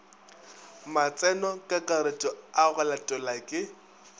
matsenokakaretšo a go latelwa ke